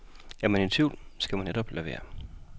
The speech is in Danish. Er man i tvivl, skal man netop lade være.